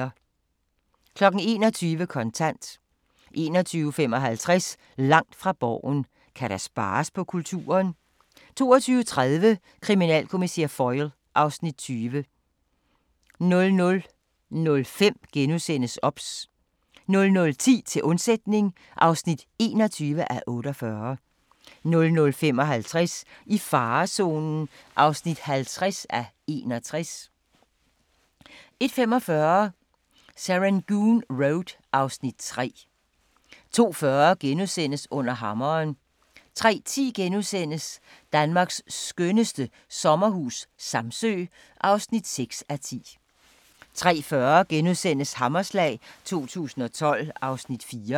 21:00: Kontant 21:55: Langt fra Borgen: Kan der spares på kulturen? 22:30: Kriminalkommissær Foyle (Afs. 20) 00:05: OBS * 00:10: Til undsætning (21:48) 00:55: I farezonen (50:61) 01:45: Serangoon Road (Afs. 3) 02:40: Under Hammeren * 03:10: Danmarks skønneste sommerhus - Samsø (6:10)* 03:40: Hammerslag 2012 (Afs. 4)*